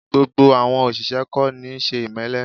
Gbogbo àwọn òṣìṣẹ́ kò níí ṣe ìmẹ́lẹ́